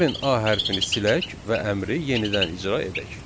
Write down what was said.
Gəlin A hərfini silək və əmri yenidən icra edək.